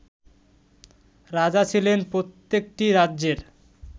রাজা ছিলেন প্রত্যেকটি রাজ্যের